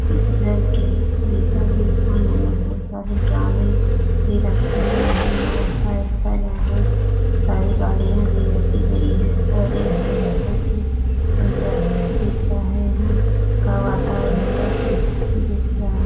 इस घर के बीचों-बीच आँगन में बहुत सारे ड्रामे भी रखे गये है और साइड साइड यहाँ बहुत सारी गाड़ियां भी रखी गई है और यह जगह बहुत ही सुन्दर दिख रहा है। यहाँ का वातावरण बहुत ही दिख रहा --